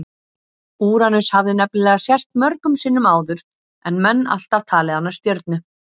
Úranus hafði nefnilega sést mörgum sinnum áður en menn alltaf talið hana stjörnu.